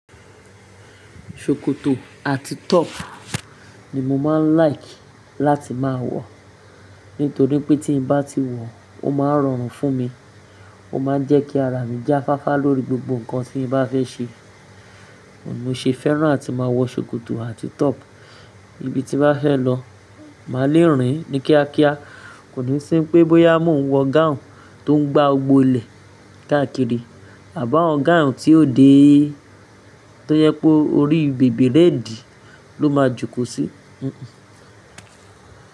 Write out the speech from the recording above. Ṣòkòtò àti top ni mo máa ń like láti máa wọ̀. Nítorí pé tí bá ti wọ̀ ó máa ń rọrùn fún mi. Ó máa ń jẹ ki ara mi jáfáfá lórí gbogbo nǹkan tí n bá fẹ́ ṣe. Mo ṣe fẹ́ràn àti máa wọ Ṣòkòtò àti top ibi tí bá fẹ́ lọ. Màá le rìn ní kíákíá. Kò ní sín pé bọ́yá mo ń wọ gown tó ń gba gbogbó ilẹ̀ káàkiri àbá awon gown tí ó déé, tó jẹ pé orí bèbèréèdì ló máa jókòó sí.